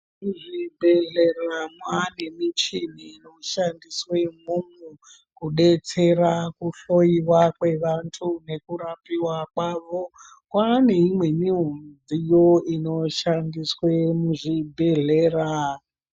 Muzvibhedhlere manemichini inoshandiswe momo kudetsera kuhloyiwa kwevantu nekurapiwa kwavo. Kwaneyimweni midziyo inoshandiswe muzvibhedhlera.